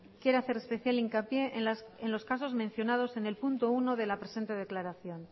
quiere hacer especial hincapié en los casos mencionados en el punto uno de la presente declaración